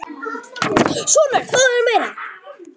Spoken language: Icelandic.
Svona, Örn, fáðu þér meira.